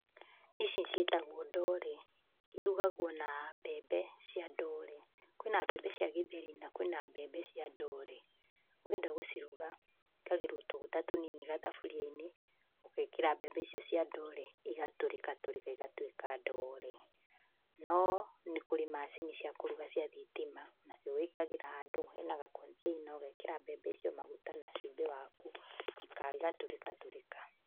Ici ciĩtagwo ndoore, irugagwo na mbembe cia ndoore. Kwĩna mbembe cia gĩtheri na kwĩna mbembe cia ndoore. Ũngĩenda gũciruga, gwĩkagĩrwo tũguta tũnini gathaburia-inĩ, ũgekĩra mbembe icio cia ndoore, igatũrika tũrika igatuĩka ndoore. No nĩkũrĩ macini cia kũruga cia thitima, nacio wĩkagĩra handũ hena gakontĩina ugekĩra mbembe icio , maguta na cubĩ waku, igatũrĩka tũrĩka.